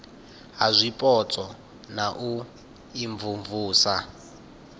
ha zwipotso na u imvumvusa